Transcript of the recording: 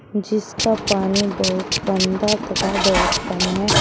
जिसका पानी बहुत गंदा तथा बहुत कम है।